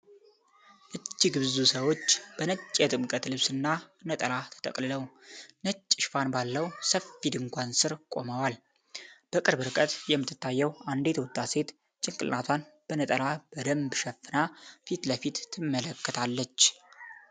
እጅግ ብዙ ሰዎች በነጭ የጥምቀት ልብስና ነጠላ ተጠቅልለው፣ ነጭ ሽፋን ባለው ሰፊ ድንኳን ስር ቆመዋል። በቅርብ ርቀት የምትታየው አንዲት ወጣት ሴት ጭንቅላቷን በነጠላዋ በደንብ ሸፍና ፊት ለፊት ትመለከታለች።